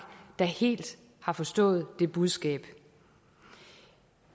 der helt har forstået det budskab